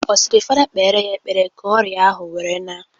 Ọ sịrị fada kpere ya ekepre ka ọrịa ahụ were na?